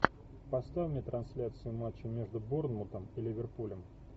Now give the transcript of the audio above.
поставь мне трансляцию матча между борнмутом и ливерпулем